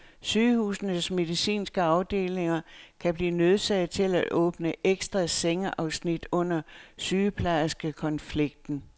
Sygehusenes medicinske afdelinger kan blive nødsaget til at åbne ekstra sengeafsnit under sygeplejerskekonflikten.